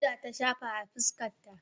powder ta shafa a fuskarta